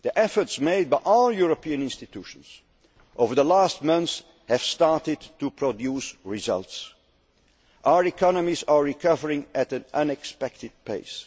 interest. The efforts made by all European institutions over the last months have started to produce results. Our economies are recovering at an unexpected